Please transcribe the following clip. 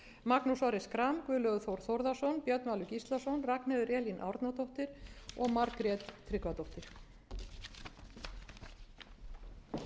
magnús orri schram guðlaugur þór þórðarson björn valur gíslason ragnheiður elín árnadóttir og margrét tryggvadóttir